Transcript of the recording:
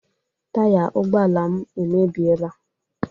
Taya ụgbọ ala m emebiela